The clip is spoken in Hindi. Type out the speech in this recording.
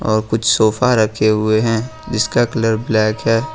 और कुछ सोफा रखे हुए हैं जिसका कलर ब्लैक है।